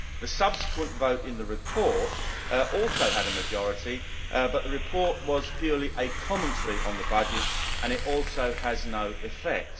The subsequent vote on the report also had a majority but the report was purely a commentary on the budget and it also has no effect.